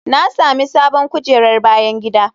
Na sami sabon kujerar bayan gida.